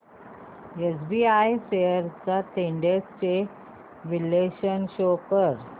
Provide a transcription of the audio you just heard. SBI shares trends चे विश्लेषण show कर